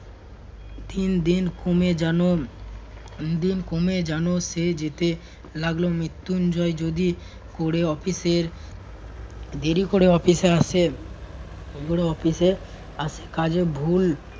তিনদিন কমে যেন~ তিন দিন কমে যেন সে যেতে লাগলো মৃত্যুঞ্জয় যদি করে অফিসের দেরি করে অফিসে আসেন~ ওদের অফিসে আস~ কাজে ভুল